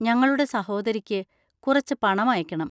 ഞങ്ങളുടെ സഹോദരിക്ക് കുറച്ച് പണമയക്കണം.